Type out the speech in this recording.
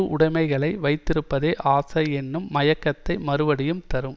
உடைமைகளை வைத்திருப்பதே ஆசை என்னும் மயக்கத்தை மறுபடியும் தரும்